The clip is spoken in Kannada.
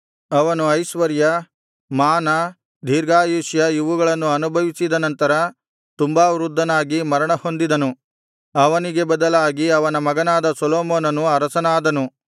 ಅವನು ಐಶ್ವರ್ಯ ಮಾನ ದೀರ್ಘಾಯುಷ್ಯ ಇವುಗಳನ್ನು ಅನುಭವಿಸಿದ ನಂತರ ತುಂಬಾ ವೃದ್ಧನಾಗಿ ಮರಣ ಹೊಂದಿದನು ಅವನಿಗೆ ಬದಲಾಗಿ ಅವನ ಮಗನಾದ ಸೊಲೊಮೋನನು ಅರಸನಾದನು